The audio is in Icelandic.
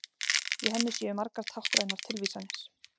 Í henni séu margar táknrænar tilvísanir